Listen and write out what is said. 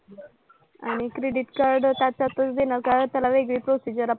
आणि credit card त्याच्यातच देणार का? त्याला वेगळी procedure आपण